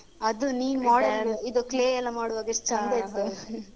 ಅದೇ ಅದು ನೀನ್ model ಇದು clay ಎಲ್ಲಾ ಮಾಡುವಾಗ.